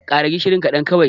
ƙara gishiri kaɗan kawai!